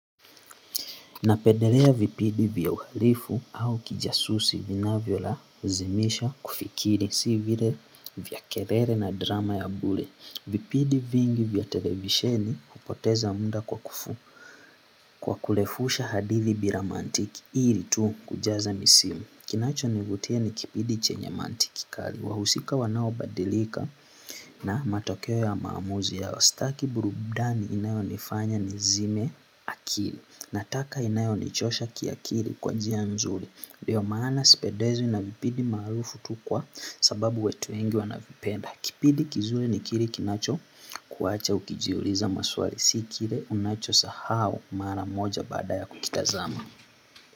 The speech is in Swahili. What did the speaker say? Napendelea vipindi vya uhalifu au kijasusi vinavyo lazimisha kufikiri, si vile vya kelele na drama ya bure. Vipindi vingi vya televisheni hupoteza muda kwa kufu kwa kurefusha hadithi bila mantiki, ili tu kujaza misimu. Kinacho nivutia ni kipindi chenye mantiki kali, wahusika wanaobadilika na matokeo ya maamuzi yao sitaki burudani inayo nifanya ni zime akili. Nataka inanayonichosha kiakili kwa njia nzuri ndio maana sipendezwi na vipindi maarufu tu kwa sababu watu wengi wanavipenda kipindi kizuri ni kile kinacho kuacha ukijiuliza maswali. Sikile unacho sahau mara moja baada ya kukitazama.